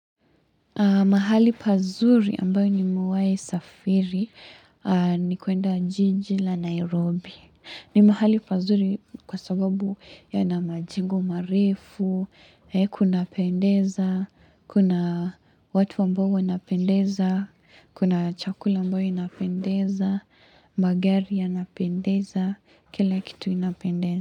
Mahali pazuri ambayo nimewai safiri, ni kuenda jiji la Nairobi. Ni mahali pazuri kwa sababu yana majengo mareru, kuna pendeza, kuna watu ambao wanapendeza, kuna chakula ambayo inapendeza, magari yanapendeza, kila kitu inapendeza.